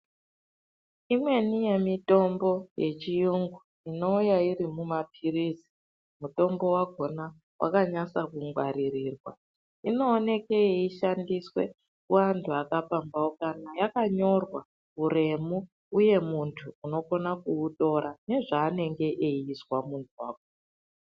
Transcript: Imweni yemitombo yechiyungu inouya iri mumaphirizi, mutombo wakhona wakanyasa kungwaririrwa ,inooneke yeishandiswe kuantu akapamphaukana, yakanyorwa huremu uye muntu unokona kuitora nezvaanenge eizwa muntu wacho.